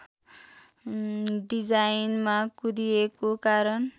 डिजाइनमा कुँदिएको कारण